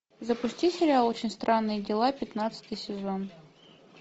запусти сериал очень странные дела пятнадцатый сезон